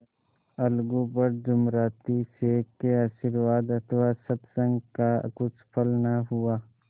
अलगू पर जुमराती शेख के आशीर्वाद अथवा सत्संग का कुछ फल न हुआ